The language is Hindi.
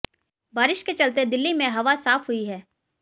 बारिश के चलते दिल्ली में हवा साफ हुई है